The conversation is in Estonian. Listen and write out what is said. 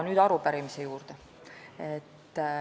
Nüüd aga arupärimise juurde.